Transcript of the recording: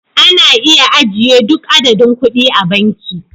Ana iya ajiye duk adadin kuɗi a banki